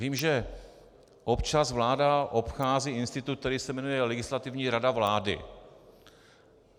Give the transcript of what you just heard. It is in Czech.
Vím, že občas vláda obchází institut, který se jmenuje Legislativní rada vlády.